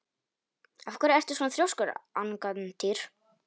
Af hverju ertu svona þrjóskur, Angantýr?